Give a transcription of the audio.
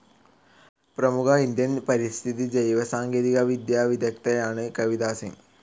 പ്രമുഖ ഇന്ത്യൻ പരിസ്ഥിതി ജൈവ സാങ്കേതിക വിദ്യാ വിദഗ്ദ്ധയാണ് കവിതാ സിങ്.